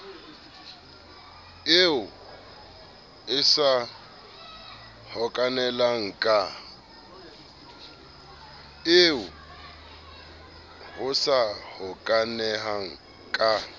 eo e sa hokahaneng ka